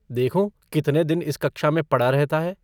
देखूँ कितने दिन इस कक्षा में पड़ा रहता है।